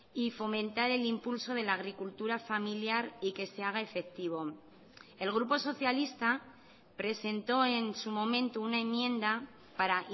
y fomentar el impulso de la agricultura familiar y que se haga efectivo el grupo socialista presentó en su momento una enmienda para